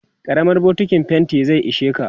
karamar bokintin fainti zai isheka